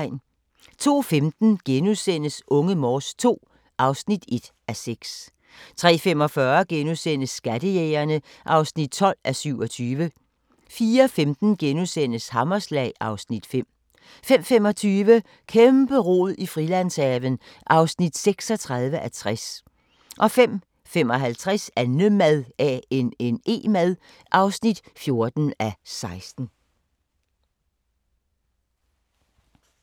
02:15: Unge Morse II (1:6)* 03:45: Skattejægerne (12:27)* 04:15: Hammerslag (Afs. 5)* 05:25: Kæmpe-rod i Frilandshaven (36:60) 05:55: Annemad (14:16)